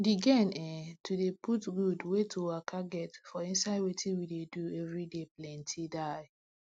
d gain eh to dey put gud wey to waka get for inside wetin we dey do everyday planty die